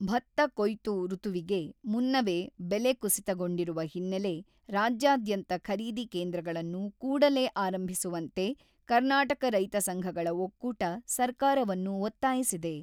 ಭತ್ತ ಕೊಯ್ತು ಋತುವಿಗೆ ಮುನ್ನವೇ ಬೆಲೆ ಕುಸಿತಗೊಂಡಿರುವ ಹಿನ್ನೆಲೆ ರಾಜ್ಯಾದ್ಯಂತ ಖರೀದಿ ಕೇಂದ್ರಗಳನ್ನು ಕೂಡಲೇ ಆರಂಭಿಸುವಂತೆ ಕರ್ನಾಟಕ ರೈತ ಸಂಘಗಳ ಒಕ್ಕೂಟ ಸರ್ಕಾರವನ್ನು ಒತ್ತಾಯಿಸಿದೆ.